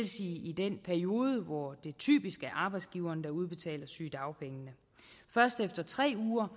sige i den periode hvor det typisk er arbejdsgiveren der udbetaler sygedagpengene først efter tre uger